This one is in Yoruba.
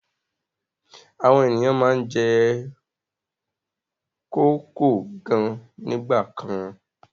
Àwọn ènìyàn máa ń jẹ kókò gan nígbà kan.